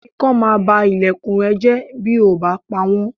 Ikán máa ba ilẹ̀kùn ẹ jẹ́ bí o ò bá pawọ̀n.